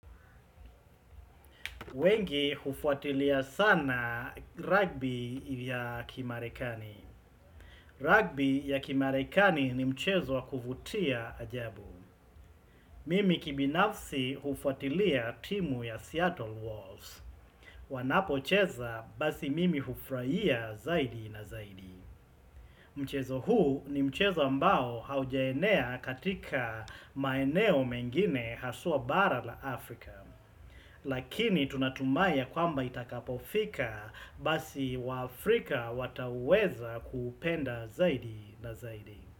Wengi hufuatilia sana rugby ya kimarekani. Rugby ya kimarekani ni mchezo wa kuvutia ajabu. Mimi kibinafsi hufuatilia timu ya Seattle Walls wanapocheza basi mimi hufurahia zaidi na zaidi. Mchezo huu ni mchezo ambao haujanea katika maeneo mengine haswa bara la Afrika. Lakini tunatumai ya kwamba itakapofika basi waafrika wataweza kuupenda zaidi na zaidi.